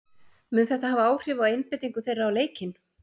Mun þetta hafa áhrif á einbeitingu þeirra á leikinn?